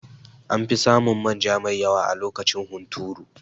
Anfi samun manja mai yawa a lokacin hunturu